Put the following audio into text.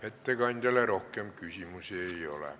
Ettekandjale rohkem küsimusi ei ole.